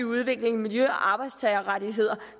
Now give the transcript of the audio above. udvikling miljø og arbejdstagerrettigheder